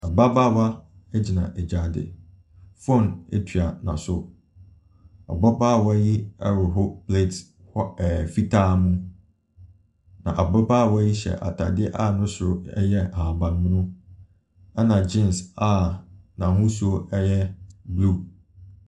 Ababaawa gyina gyaade. Phone tua n'aso. Ababaawa yi rehohoro plate wh ɛɛ fitaa mu, na ababaawa yi hyɛ atadeɛ a ne soro yɛ ahabammono, ɛna geans a n'ahosuo yɛ blue.